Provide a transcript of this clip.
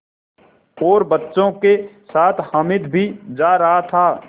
और बच्चों के साथ हामिद भी जा रहा था